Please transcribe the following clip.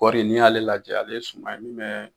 Koɔri n'i y'ale lajɛ ale suma ye min mɛ